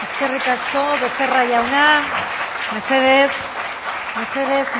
eskerrik asko becerra jauna mesedez mesedez